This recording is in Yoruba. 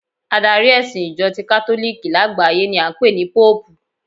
Adari ẹ̀sìn Ìjọ ti katoliki lágbàáyé ni a ń pè ní Póòpù